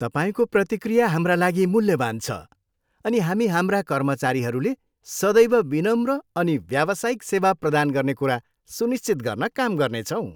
तपाईँको प्रतिक्रिया हाम्रा लागि मूल्यवान छ, अनि हामी हाम्रा कर्मचारीहरूले सदैव विनम्र अनि व्यावसायिक सेवा प्रदान गर्ने कुरा सुनिश्चित गर्न काम गर्नेछौँ।